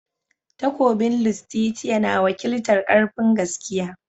Takobin Lustitia na wakiltar "Karfin"gaskiya.